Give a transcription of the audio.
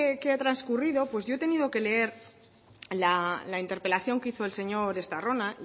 que ha transcurrido pues yo he tenido que leer la interpelación que hizo el señor estarrona